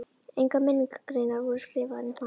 Engar minningargreinar voru skrifaðar um hann.